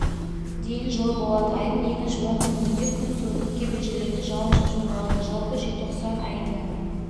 дейін жылы болады айдың екінші онкүндігінде күн суытып кейбір жерлерде жауын-шашын болады жалпы желтоқсан айында